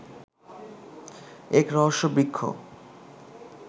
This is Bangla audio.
এক রহস্য বৃক্ষ